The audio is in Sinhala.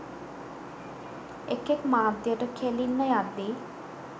එකෙක් මාධ්‍යට කෙලින්න යද්දී